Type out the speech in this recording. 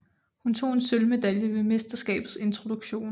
Hun tog en sølvmedalje ved mesterskabets introduktion